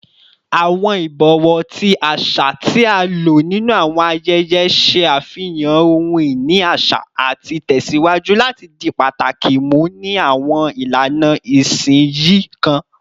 Awọn ibọwọ, ti aṣa ti a lo ninu awọn ayẹyẹ, ṣe afihan ohun-ini aṣa ati tẹsiwaju lati di pataki mu ni awọn ilana isinsinyi kan